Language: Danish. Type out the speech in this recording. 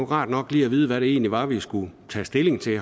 rart nok lige at vide hvad det egentlig var vi skulle tage stilling til